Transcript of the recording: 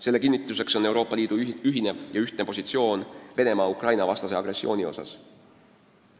Selle kinnituseks on Euroopa Liidu ühtne positsioon Venemaa Ukraina-vastase agressiooni osas.